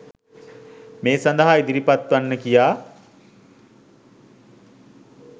මේ සඳහා ඉදිරිපත් වන්න කියා.